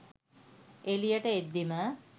එළියට එද්දීම